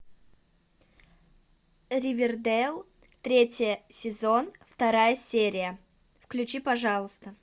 ривердейл третий сезон вторая серия включи пожалуйста